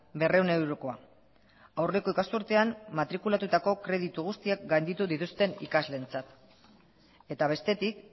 berrehun eurokoa aurreko ikasturtean matrikulatutako kreditu guztiak gainditu dituzten ikasleentzat eta bestetik